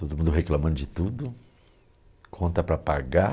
Todo mundo reclamando de tudo, conta para pagar.